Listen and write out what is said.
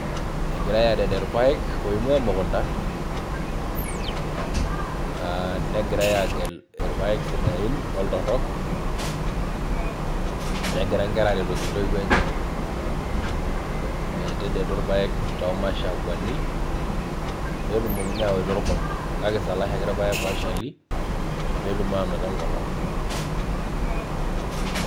Egirae arere irpaek oingwaa emukunta aa negirae agel irpaek sidain oltorok negira inkera aretoki intoiwuo enye metetedu irpaek too mashakwani petumokini awaita orkombe kake sanisana kisalaashaki irpaek ooshali petum anoto enkolong .